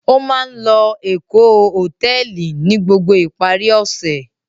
Ó máa ń lọ Èkó Hòtẹ́ẹ́lì ní gbogbo ìparí ọ̀sẹ̀.